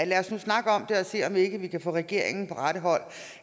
lad os nu snakke om det og se om ikke vi kan få regeringen på rette vej